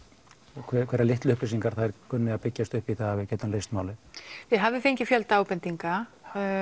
og hverjar litlar upplýsingar þær kunni að byggjast upp í að við getum leyst málið þið hafið fengið fjölda ábendinga